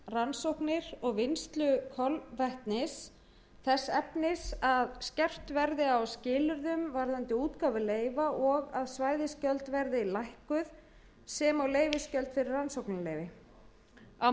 rannsóknir og vinnslu kolvetnis þess efnis að skerpt verði á skilyrðum varðandi útgáfu leyfa og að svæðisgjöld verði lækkuð sem og leyfisgjöld fyrir rannsóknarleyfi á